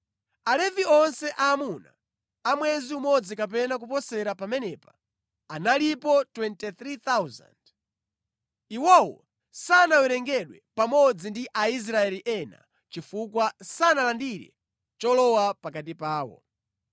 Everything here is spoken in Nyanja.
Alevi onse aamuna a mwezi umodzi kapena kuposera pamenepa analipo 23,000. Iwowo sanawerengedwe pamodzi ndi Aisraeli ena chifukwa sanalandire cholowa pakati pawo.